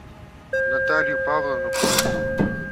наталью павловну колосову